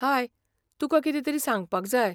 हाय, तुकां कितेंतरी सांगपाक जाय.